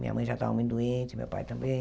Minha mãe já estava muito doente, meu pai também.